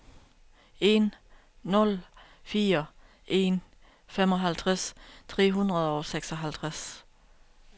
en nul fire en femoghalvtreds tre hundrede og seksoghalvtreds